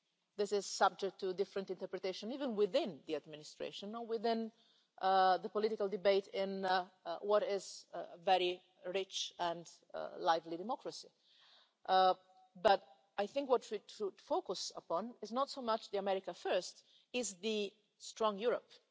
This is subject to different interpretations even within the Administration or within the political debate in what is a very rich and lively democracy, but I think what we should focus upon is not so much America First' as Strong Europe'.